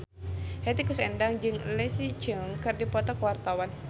Hetty Koes Endang jeung Leslie Cheung keur dipoto ku wartawan